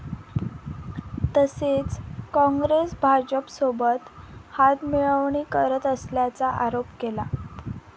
तसेच काँग्रेस भाजपसोबत हातमिळवणी करत असल्याचा आरोप केला.